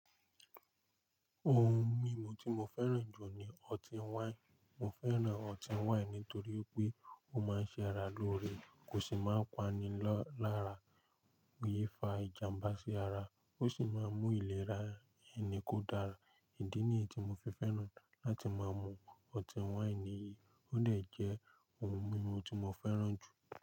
Ohun mímu tí mo fẹ́ràn jù ní ọtí wáìnì. Mo fẹ́ràn ọtí wáìnì nítorí pé ó máa ń ṣe ara lóore, kò sì máa ń pani lọ lára, kìí fa ìjàmbá sí ara ó sì máa ń mú ìlera ẹni kó dára. Ìdí nìyí tí mo fi fẹ́ràn láti máa mú ọtí wáìnì yìí ó lè jẹ́ ohun mímu tí mo fẹ́ràn jù.